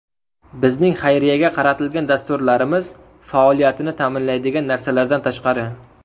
Bizning xayriyaga qaratilgan dasturlarimiz faoliyatini ta’minlaydigan narsalardan tashqari.